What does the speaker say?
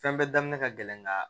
Fɛn bɛɛ daminɛ ka gɛlɛn ka